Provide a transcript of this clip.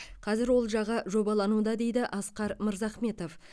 қазір ол жағы жобалануда дейді асқар мырзахметов